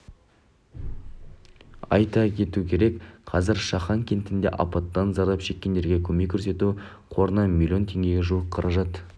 айта кету керек қазір шахан кентіндегі апаттан зардап шеккендерге көмек көрсету қорына миллион теңгеге жуық қаражат